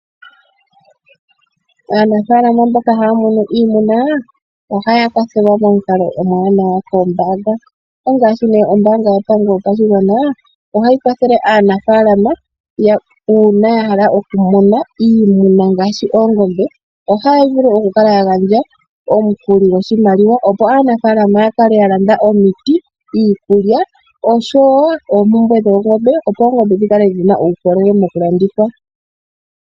Aanafaalama mboka haya munu iimuna ohaya kwathelwa momukalo omuwanawa koombaanga ngaashi ombaanga yotango yopashigwa ohayi kwathele aakwashigwana uuna ya hala okumuna iimuna ngaashi oongombe. Ohaya vulu okukala ya gandja omukuli goshimaliwa, opo aanafaalama ya kale ya landa omiti, iikulya oshsowo oompumbwe dhoongombe, opo oongombe dhi kale dhi na uukolele tadhi vulu okulandithwa.